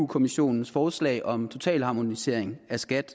kommissionens forslag om total harmonisering af skat